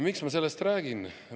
Miks ma sellest räägin?